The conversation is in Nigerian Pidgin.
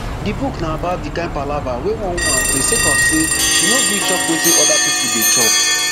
di book na about di kain palava wey one woman face sake of say she no gree chop wetin oda pipo dey chop